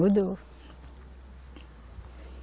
Mudou.